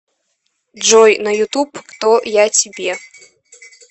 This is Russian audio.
джой на ютуб кто я тебе